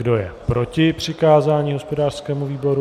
Kdo je proti přikázání hospodářskému výboru?